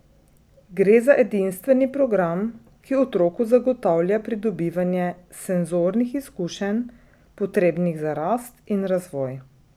Gre za edinstveni program, ki otroku zagotavlja pridobivanje senzornih izkušenj, potrebnih za rast in razvoj.